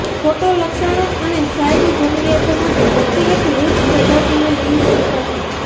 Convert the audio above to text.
photo લક્ષણો અને site જરૂરિયાતો માટે વ્યક્તિગત વૃક્ષ પ્રજાતિઓ લિંક્સ તપાસો